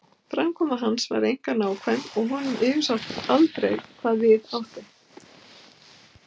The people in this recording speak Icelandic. Framkoma hans var einkar nákvæm og honum yfirsást aldrei hvað við átti.